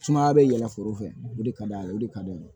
Sumaya bɛ yɛlɛ foro fɛ o de ka d'a ye o de ka d'an ye